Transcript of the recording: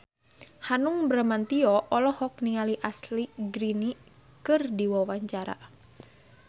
Hanung Bramantyo olohok ningali Ashley Greene keur diwawancara